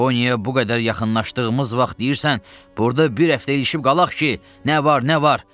Yaponiyaya bu qədər yaxınlaşdığımız vaxt deyirsən, burda bir həftə ilişib qalaq ki, nə var, nə var?